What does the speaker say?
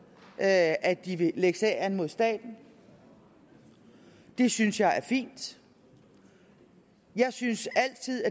at at de vil lægge sag an mod staten det synes jeg er fint jeg synes altid